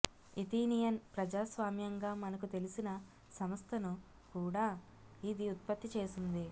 Athenian ప్రజాస్వామ్యంగా మనకు తెలిసిన సంస్థను కూడా ఇది ఉత్పత్తి చేసింది